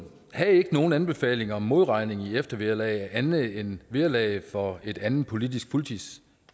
havde ikke nogen anbefaling om modregning i eftervederlaget andet end vederlaget for et andet politisk politisk